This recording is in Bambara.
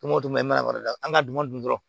O tuma i mana da an ka dunan dun